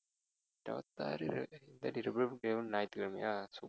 இருபத்தி ஆறு ரிபப்லிக் டேவும் ஞாயிற்றுக்கிழமையா சுத்தம்